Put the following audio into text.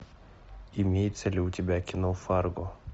имеется ли у тебя кино фарго